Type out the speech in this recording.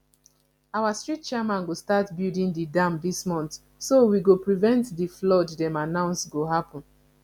our street chairman go start building the dam dis month so we go prevent the flood dem announce go happen